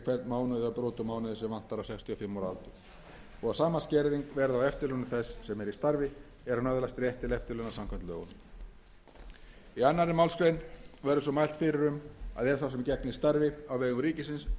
mánuð eða brot úr mánuði sem vantar á sextíu og fimm ára aldur og að sama skerðing verði á eftirlaunum þess sem er í starfi er hann öðlast rétt til eftirlauna samkvæmt lögunum í annarri málsgrein verður svo mælt fyrir um að ef sá sem gegnir starfi á vegum ríkisins